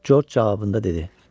George cavabında dedi.